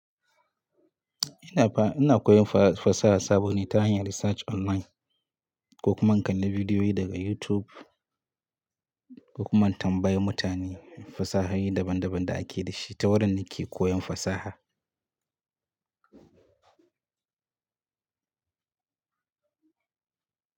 Ina fa, ina koyon fa-fasaha sabo ne ta hanyar research online, ko kuma in kalli bidiyoyi daga YouTube, ko kuma in tambaya mutane fasahohi daban-daban da ake da shi. Ta wurin ni ke koyon fasaha.